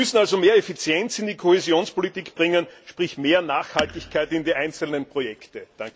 Wir müssen also mehr Effizienz in die Kohäsionspolitik bringen, sprich mehr Nachhaltigkeit in die einzelnen Projekte.